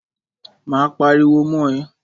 Máa pariwo mọ́ ẹ.